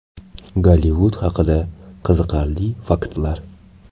Gollivud haqida qiziqarli faktlar.